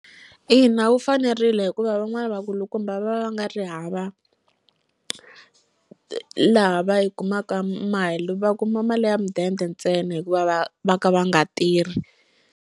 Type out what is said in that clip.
Ina, wu fanerile hikuva van'wani va kulukumba va va nga ri hava laha va yi kumaka mali va kuma mali ya mudende ntsena hikuva va va ka va nga tirhi.